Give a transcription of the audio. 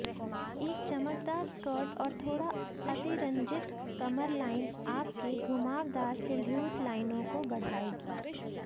एक चमकदार स्कर्ट और थोड़ा अतिरंजित कमरलाइन आपके घुमावदार सिल्हूट लाइनों को बढ़ाएगी